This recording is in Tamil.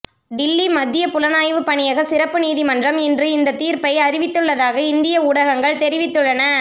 டில்லி மத்திய புலனாய்வு பணியக சிறப்பு நீதிமன்றம் இன்று இந்த தீர்ப்பை அறிவித்துள்ளதாக இந்திய ஊடகங்கள் தெரிவித்துள்ளன